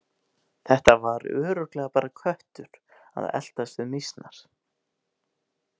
Þetta var örugglega bara köttur að eltast við mýsnar.